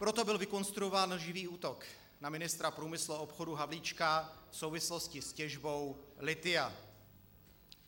Proto byl vykonstruován lživý útok na ministra průmyslu a obchodu Havlíčka v souvislosti s těžbou lithia.